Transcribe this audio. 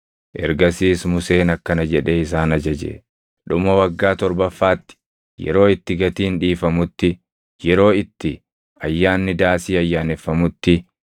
Ergasiis Museen akkana jedhee isaan ajaje; “Dhuma waggaa torbaffaatti, yeroo itti gatiin dhiifamutti, yeroo itti Ayyaanni Daasii ayyaaneffamutti,